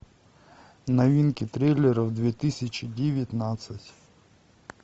новинки триллеров две тысячи девятнадцать